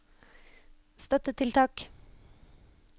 støttetiltak